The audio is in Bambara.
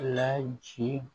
Laci